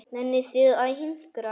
Nennið þið að hinkra?